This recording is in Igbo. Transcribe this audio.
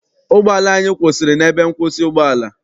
Ụgbọala anyị kwụsịrị n'ebe nkwụsị ụgbọala.